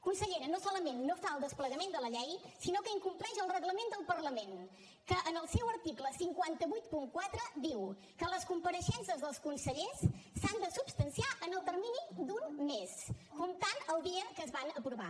consellera no solament no fa el desplegament de la llei sinó que incompleix el reglament del parlament que en el seu article cinc cents i vuitanta quatre diu que les compareixences dels consellers s’han de substanciar en el termini d’un mes comptant el dia que es van aprovar